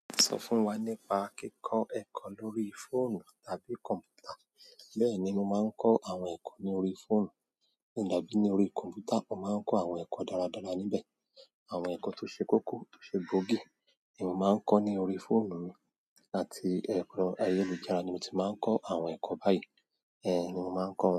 Sọ fún wa nípa kíkọ ẹ̀kọ́ lórí fóònù tàbí kọ̀m̀pútà. Bẹ́ẹ̀ni mo máa ń kọ́ àwọn ẹ̀kọ́ ní orí fóònù, àbí ní orí kọ̀m̀pútà mo máa ń kọ́ àwọn ẹ̀kọ́ dáradára níbẹ̀. Àwọn ẹ̀kọ́ tó ṣe kókó, tó ṣe gbogi ni mo máa ń kọ́ ní orí fóònù mi, àti ẹ̀kọ́ ayélujára ni mo ti máa ń kọ́ àwọn ẹ̀kọ́ báyìí. Ni mo máa ń ko won.